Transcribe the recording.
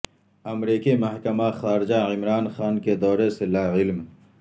امریکی محکمہ خارجہ عمران خان کے دورے سے لاعلم